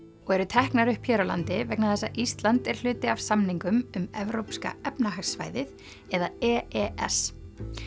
og eru teknar upp hér á landi vegna þess að Ísland er hluti af samningum um Evrópska efnahagssvæðið eða e e s